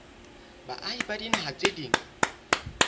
baahi ba dinaha tse ding